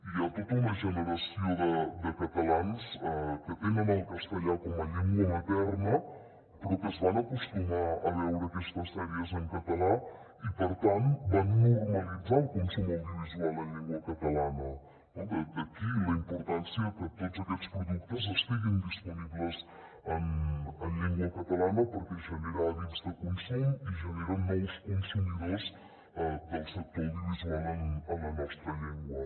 hi ha tota una generació de catalans que tenen el castellà com a llengua materna però que es van acostumar a veure aquestes sèries en català i per tant van normalitzar el consum audiovisual en llengua catalana no d’aquí la importància que tots aquests productes estiguin disponibles en llengua catalana perquè generen hàbits de consum i generen nous consumidors del sector audiovisual en la nostra llengua